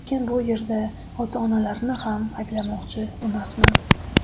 Lekin bu yerda ota-onalarni ham ayblamoqchi emasman.